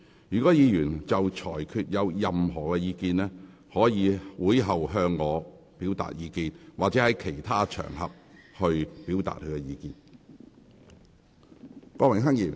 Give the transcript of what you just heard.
如果議員對裁決有任何意見，可以在會後向我提出，或在其他場合表達。